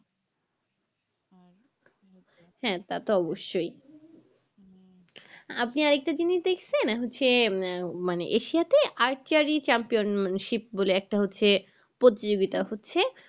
হ্যাঁ তা তো অবশই আপনি আরেক তা জিনিস দেখছেন হচ্ছে মানে Asia তে araragi champion ship বলে একটা হচ্ছে প্রতিযোগিতা হচ্ছে